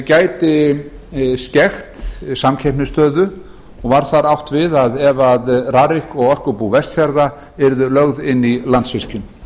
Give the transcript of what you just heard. gæti skekkt samkeppnisstöðu og var þar átt við ef rarik og orkubú vestfjarða yrðu lögð inn í landsvirkjun